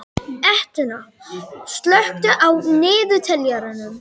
Etna, slökktu á niðurteljaranum.